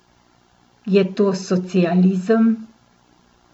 Je to socializem?